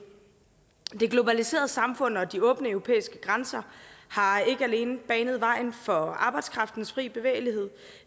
det globaliserede samfund og de åbne europæiske grænser har ikke alene banet vejen for arbejdskraftens fri bevægelighed